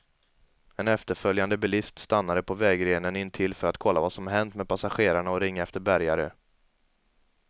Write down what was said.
En efterföljande bilist stannade på vägrenen intill för att kolla vad som hänt med passagerarna och ringa efter bärgare.